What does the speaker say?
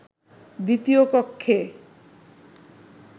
দ্বিতীয় কক্ষে